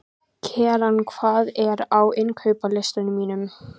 Keran, hvað er á innkaupalistanum mínum?